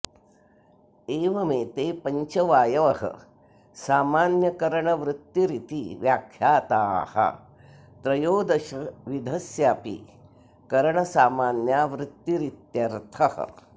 एवमेते पञ्च वायवः सामान्यकरणवृत्तिरिति व्याख्याताः त्रयोदशविधस्यापि करणसामान्या वृत्तिरित्यर्थः